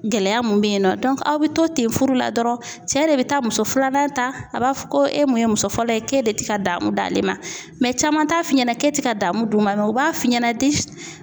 Gɛlɛya mun bɛ yen nɔ aw bɛ to ten furu la dɔrɔn cɛ de bɛ taa muso filanan ta, a b'a fɔ ko e mun ye muso fɔlɔ ye k'e de tɛ ka daamu d'ale ma caman t'a f'i ɲɛna k'e ti ka daamu d'u ma u b'a f'i ɲɛna de